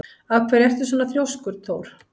Af hverju ertu svona þrjóskur, Thór?